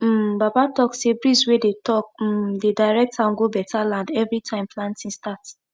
um baba talk say breeze wey dey talk um dey direct am go better land every time planting start